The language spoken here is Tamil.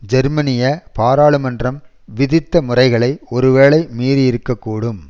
ஜெர்மனிய பாராளுமன்றம் விதித்த முறைகளை ஒரு வேளை மீறியிருக்கக்கூடும்